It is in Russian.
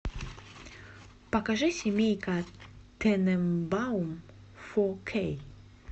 покажи семейка тененбаум фо кей